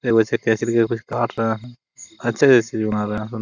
ये वैसे-तैसे कर के भी कुछ काट रहा है अच्छा ही ऐसे बना रहा है।